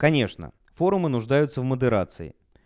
конечно форумы нуждаются в модерации